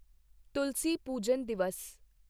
ਤੁਲਸੀ ਪੂਜਨ ਦਿਵਸ